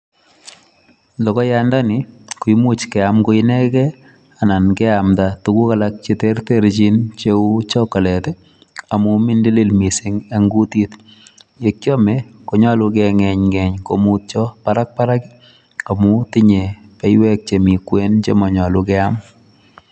Logoyandani koimuch keam koinege anan keamda tuguk alak che terterchin cheu chocolate amun mindilili mising en kutit. Ye kyome konyolu ke ng'enyng'eny komutyo barak barak amun tinye beiywek che mi kwen che monyolu keam.